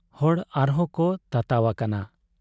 ᱦᱚᱲ ᱟᱨᱦᱚᱸ ᱠᱚ ᱛᱟᱛᱟᱣ ᱟᱠᱟᱱᱟ ᱾